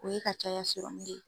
O ye ka caya de ye.